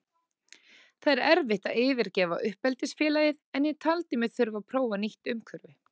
Það er erfitt að yfirgefa uppeldisfélagið en ég taldi mig þurfa að prófa nýtt umhverfi.